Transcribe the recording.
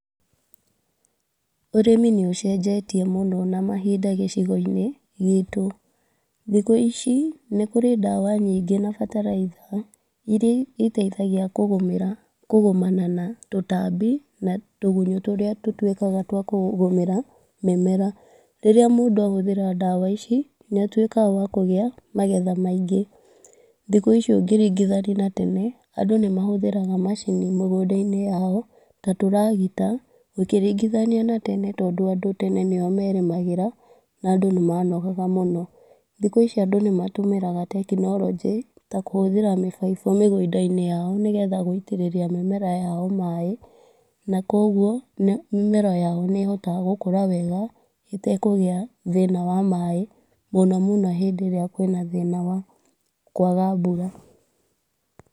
Ũrĩmi nĩ ũcenjetie mũno na mahinda gũcigo-inĩ gitũ. Thikũ ici nĩkũrĩ ndawa nyingĩ na bataraitha iria iteithagia kũgomana na tũtambi na tũgunyũ tũrĩa tũtuĩkaga twakũgũmĩra mĩmera. Rĩrĩa mũndũ ahũthĩra ndawa ici nĩatuĩkaga wakũgĩa na magetha maingĩ. Thikũ ici ũngĩringithania na tene, andũ nĩ mahũthagĩra macini mĩgũnda-inĩ yao ta tũragita, ũkĩringithania na tene, tondũ andũ tene nĩo merĩmagĩra na andũ nĩ manogaga mũno. Thikũ ici andũ nĩ matũmĩraga tekinornjĩ, ta kũhũthĩra mĩbaibũ mĩgũnda-inĩ yao nĩgetha gũitĩrĩria mĩmera yao maĩ, na kogwo, mĩmera yao nĩ hotaga gũkũra wega ĩtekũgĩa thĩna wa maĩ mũno mũno hĩndĩ ĩrĩa kwĩna thĩna wa kwaga mbura.